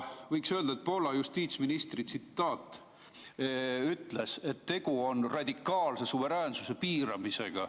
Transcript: Poola justiitsminister on öelnud, et tegu on radikaalse suveräänsuse piiramisega.